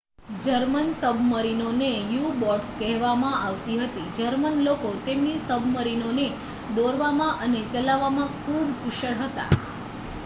German સબમરીનોને U boats કહેવામાં આવતી હતી જર્મન લોકો તેમની સબમરીનોને દોરવામાં અને ચલાવવામાં ખૂબ કુશળ હતા